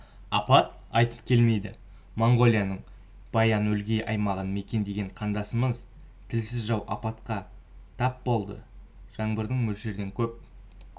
апат айтып келмейді моңғолияның баян-өлгий аймағын мекендеген қандастарымыз тілсіз жау апатқа тап болды жаңбырдың мөлшерден көп